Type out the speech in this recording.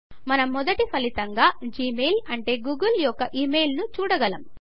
మనం మొదటి ఫలితంగా జిమెయిల్ అంటే గూగుల్ యొక్క ఇమెయిల్ ను చూడగలము